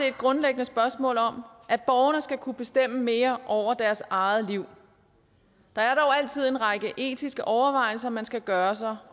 et grundlæggende spørgsmål om at borgerne skal kunne bestemme mere over deres eget liv der er dog altid en række etiske overvejelser man skal gøre sig